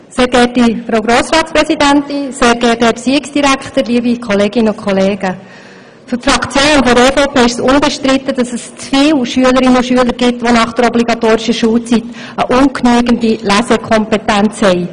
Für die EVPFraktion ist unbestritten, dass es zu viele Schülerinnen und Schüler gibt, die nach der obligatorischen Schulzeit eine ungenügende Lesekompetenz aufweisen.